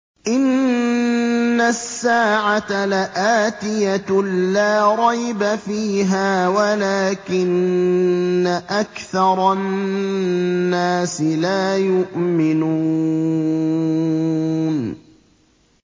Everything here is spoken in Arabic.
إِنَّ السَّاعَةَ لَآتِيَةٌ لَّا رَيْبَ فِيهَا وَلَٰكِنَّ أَكْثَرَ النَّاسِ لَا يُؤْمِنُونَ